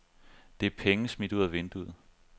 Det er penge smidt ud af vinduet.